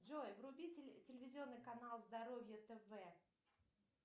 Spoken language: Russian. джой вруби телевизионный канал здоровье тв